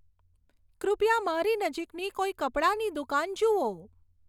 કૃપયા મારી નજીકની કોઈ કપડાની દુકાન જુઓ